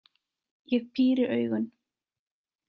Ég píri augun.